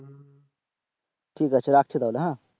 ঠিক আছে রাখছি তাহলে,